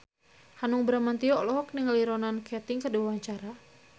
Hanung Bramantyo olohok ningali Ronan Keating keur diwawancara